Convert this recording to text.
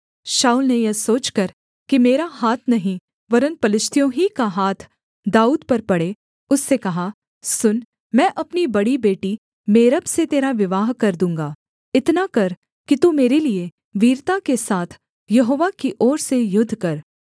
शाऊल ने यह सोचकर कि मेरा हाथ नहीं वरन् पलिश्तियों ही का हाथ दाऊद पर पड़े उससे कहा सुन मैं अपनी बड़ी बेटी मेरब से तेरा विवाह कर दूँगा इतना कर कि तू मेरे लिये वीरता के साथ यहोवा की ओर से युद्ध कर